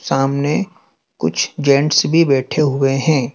सामने कुछ जेंट्स भी बैठे हुए हैं।